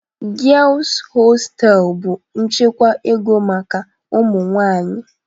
Girls hostels bụ nchekwa ego maka ụmụ nwanyị